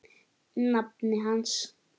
nafni hans.